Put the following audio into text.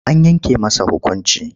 An yanke masa hukunci.